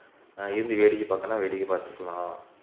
ஆஹ் இருந்து வேடிக்கை பாக்குறதுன்னா வேடிக்கை பாத்துக்கலாம்